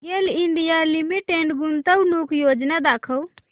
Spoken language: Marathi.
गेल इंडिया लिमिटेड गुंतवणूक योजना दाखव